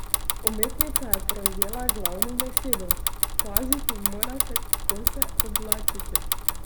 Umetnica je prevzela glavno besedo: "Paziti morate, kako se oblačite.